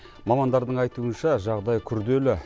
мамандардың айтуынша жағдай күрделі